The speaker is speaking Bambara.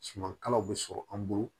Suman kalaw bɛ sɔrɔ an bolo